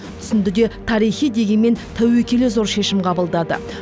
түсінді де тарихи дегенмен тәуекелі зор шешім қабылдады